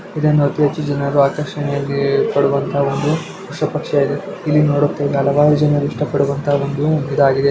ಇದನ್ನು ಅತಿ ಹೆಚ್ಚು ಜನರು ಆಕರ್ಷಣೆಯಾಗೀ ಪಡುವಂತಹ ಒಂದು ಹೊಸ ಪಕ್ಷಿ ಯಾದೆ ಇಲ್ಲಿ ಹಲವಾರು ಜನ ಇಷ್ಟ ಪಡುವಂತಾ ಒಂದೂ ಇದಾಗಿದೆ.